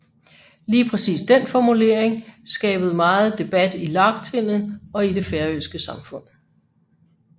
Lige præcis den formulering skabet megen debat i lagtinget og i det færøske samfund